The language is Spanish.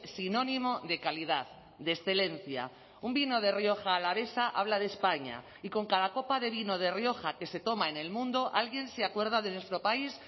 sinónimo de calidad de excelencia un vino de rioja alavesa habla de españa y con cada copa de vino de rioja que se toma en el mundo alguien se acuerda de nuestro país